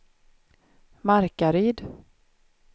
Markaryd